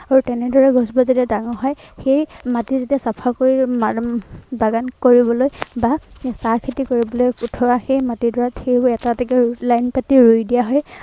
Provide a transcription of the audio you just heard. আৰু তেনেদৰে গছজোপা যেতিয়া ডাঙৰ হয়, সেই মাটি যেতিয়া চাফা কৰি এৰ উম বাগান কৰিবলৈ বা চাহ খেতি কৰিবলৈ উঠোৱা সেই মাট ডৰাত সেইবোৰ এটা এটাকৈ line পাতি ৰুই দিয়া হয়।